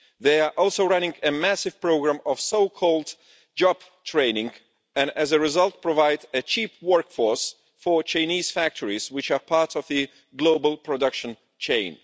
They are also running a massive programme of so-called job training and as a result provide a cheap workforce for Chinese factories, which are part of the global production chain.